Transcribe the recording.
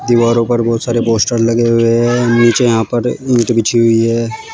दीवारों पर बहोत सारे पोस्टर लगे हुए हैं नीचे यहां पर ईंट बिछी हुई है।